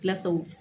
Pilasiw